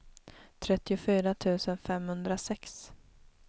trettiofyra tusen femhundrasex